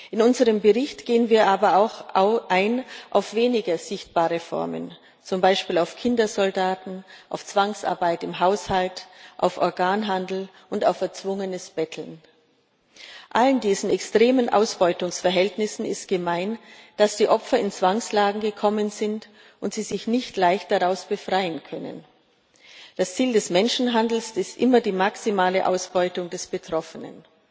In unserem Bericht gehen wir aber auch auf weniger sichtbare Formen ein, zum Beispiel auf Kindersoldaten, auf Zwangsarbeit im Haushalt, auf Organhandel und auf erzwungenes Betteln. All diesen extremen Ausbeutungsverhältnissen ist gemein, dass die Opfer in Zwangslagen gekommen sind und sich nicht leicht daraus befreien können. Das Ziel des Menschenhandels ist immer die maximale Ausbeutung des Betroffenen.